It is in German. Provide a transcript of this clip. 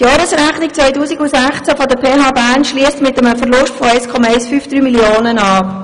Die Jahresrechnung 2016 der PHBern schliesst mit einem Verlust von 1,153 Mio. Franken ab.